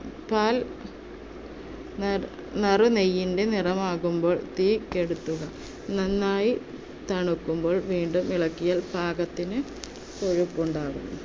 പാൽ നാ~ നറുനെയ്യിന്‍ടെ നിറമാവുമ്പോൾ തീ കെടുത്തുക. നന്നായി തണുക്കുമ്പോൾ വീണ്ടും ഇളകിയാൽ പാകത്തിന് കൊഴുപ്പ് ഉണ്ടാവും.